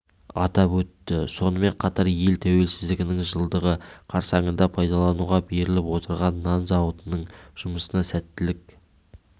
атап өтті сонымен қатар ел тәуелсіздігінің жылдығы қарсаңында пайдалануға беріліп отырған нан зауытының жұмысына сәттілік